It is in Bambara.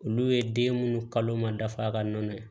Olu ye den munnu kalo ma dafa a ka nɔnɔ ye